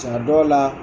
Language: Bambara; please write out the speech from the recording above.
Sa dɔw la